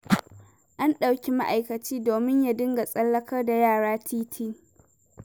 An ɗauki ma'aikaci domin ya dinga tsallakar da yara titi.